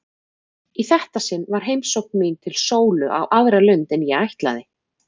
Í þetta sinn var heimsókn mín til Sólu á aðra lund en ég ætlaði.